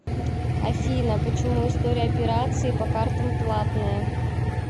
афина почему история операции по картам платная